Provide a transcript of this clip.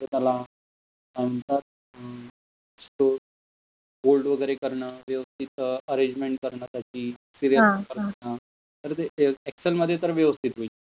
जर त्याला बोल्ड वगेरे करन, व्यवस्थित अरेंजमेंट करन त्याची, तर ते एक्सेल मध्ये तर व्यवस्थित होईल.